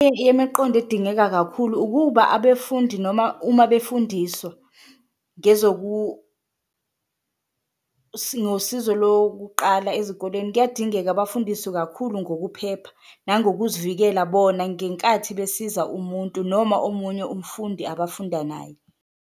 Edingeka kakhulu ukuba abefundi noma uma befundiswa sinosizo lokuqala ezikoleni kuyadingeka bafundiswe kakhulu ngokuphepha nangokuzivisela bona, ngenkathi besiza umuntu noma omunye umfundi abafunda naye.